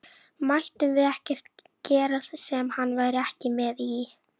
Mættum við ekkert gera sem hann væri ekki með í?